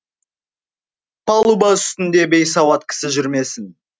палуба үстінде бейсауат кісі жүрмесін